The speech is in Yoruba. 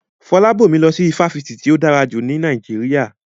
Fọlábọ̀mí lọ sí ifásitì tí ó dára jù ní Nàìjíríà